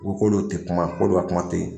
tɛ kuma ko dɔ kuma tɛ yen